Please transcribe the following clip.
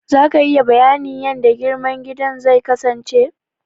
Za ka iya bayanin yanda girman gidan zai kasance?